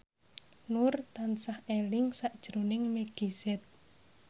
Nur tansah eling sakjroning Meggie Z